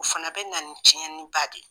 O fana bɛ na tiɲɛniba de